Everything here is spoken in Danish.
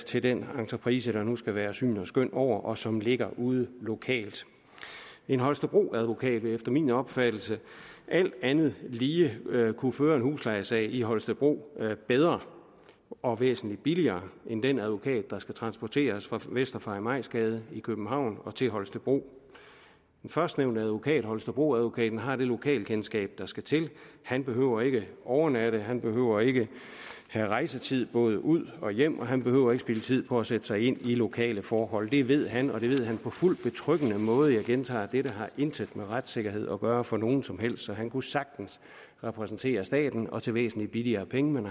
til den entreprise der nu skal være syn og skøn over og som ligger ude lokalt en holstebroadvokat vil efter min opfattelse alt andet lige kunne føre en huslejesag i holstebro bedre og væsentlig billigere end den advokat der skal transporteres fra vester farimagsgade i københavn til holstebro den førstnævnte advokat holstebroadvokaten har det lokalkendskab der skal til han behøver ikke at overnatte han behøver ikke at have rejsetid både ud og hjem og han behøver ikke at spilde tid på at sætte sig ind i lokale forhold det ved han og det ved han på fuldt betryggende måde jeg gentager dette har intet med retssikkerhed at gøre for nogen som helst så han kunne sagtens repræsentere staten og til væsentlig billigere penge men